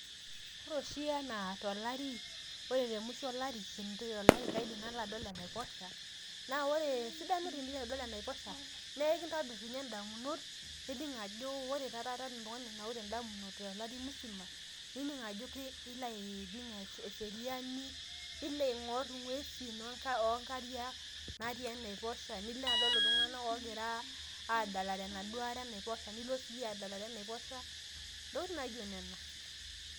Ore oshi anaa tolari ore te mushuo olari kintoy olari kaidim nalo adol enaiposha naa ore esidano tenilo adol enaiposha nee ekintobir ninye ndamunot nininng ajo ore taa taata anaa oltungani onaurate indamunot tolari musima nining ajo ee ilo aning eseriani ,nilo aingor ingwesin oonkariak natii enaiposha ,nilo adol iltunganak ogira aadalare enaduoo are enaiposha nilo siiyie adalare enaiposha ntokitin naijo nena.